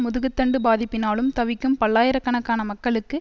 முதுகுத்தண்டு பாதிப்பினாலும் தவிக்கும் பல்லாயிர கணக்கான மக்களுக்கு